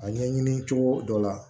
A ɲɛɲini cogo dɔ la